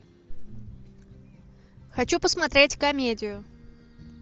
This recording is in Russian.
хочу посмотреть комедию